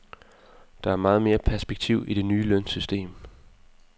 Der er meget mere perspektiv i det nye lønsystem.